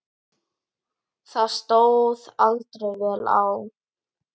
Það stóð aldrei vel á.